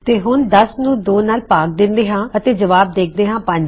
ਤੇ ਹੁਣ 10 ਨੂੰ 2 ਨਾਲ ਭਾਗ ਦੇਂਦੇ ਹਾਂ ਅਤੇ ਜਵਾਬ ਦੇਖਦੇ ਹੈਂ 5